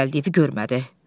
Gəldiyi evi görmədi.